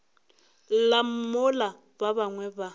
lla mola ba bangwe ba